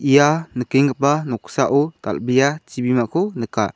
ia nikenggipa noksao dal·bea chibimako nika.